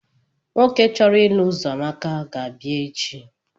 Nwoke uchọrọ ịlụ uzoamaka ga-abịa ga-abia echi.